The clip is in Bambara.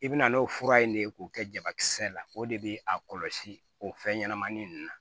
I bɛna n'o fura in ne k'o kɛ jabakisɛ la o de be a kɔlɔsi o fɛn ɲɛnama nunnu na